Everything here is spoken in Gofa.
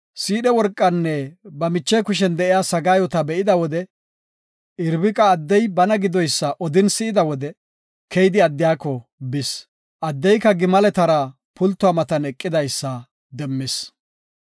Siidhe worqanne ba miche kushen de7iya sagaayota be7ida wode Irbiqa addey bana gidoysa odin si7ida wode, keyidi addiyako bis. Addeyka gimaletara pultuwa matan eqidaysa demmis.